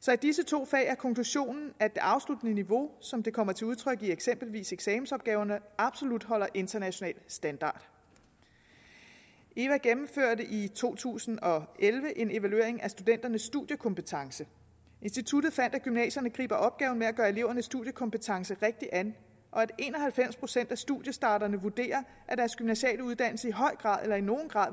så i disse to fag er konklusionen at det afsluttende niveau som det kommer til udtryk i eksempelvis eksamensopgaverne absolut holder international standard eva gennemførte i to tusind og elleve en evaluering af studenternes studiekompetence instituttet fandt at gymnasierne griber opgaven med at give eleverne studiekompetence rigtigt an og at en og halvfems procent af studiestarterne vurderer at deres gymnasiale uddannelser i høj grad eller i nogen grad